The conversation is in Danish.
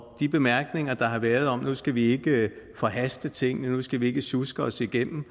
de bemærkninger der har været om at nu skal vi ikke forhaste tingene og nu skal vi ikke sjuske os igennem